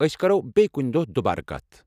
ٲسۍ کرَو بییٚہِ کُنہِ دۄہ دُبارٕ کتھ ۔